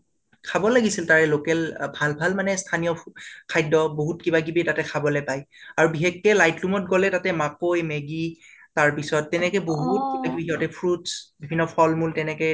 খাব লাগিছিল তাৰে local ভাল ভাল মানে স্থানীয় fo খাদ্য বহুত কিবা কীবি তাতে খাবলৈ পায়। আৰু বিশেষকে লৈত্লুম ত গলে তাতে মাকৈ maggie তাৰ পিছত তেনেকে বহুত fruits বিভিন্ন ফালমূল তেনেকে